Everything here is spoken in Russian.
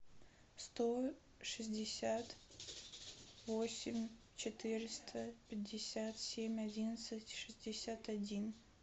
сто шестьдесят восемь четыреста пятьдесят семь одиннадцать шестьдесят один